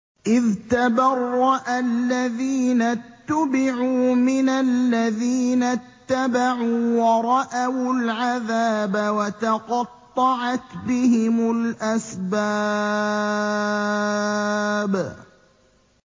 إِذْ تَبَرَّأَ الَّذِينَ اتُّبِعُوا مِنَ الَّذِينَ اتَّبَعُوا وَرَأَوُا الْعَذَابَ وَتَقَطَّعَتْ بِهِمُ الْأَسْبَابُ